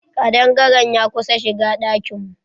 Kaɗangare'n ya kusa shigan ɗakin mu.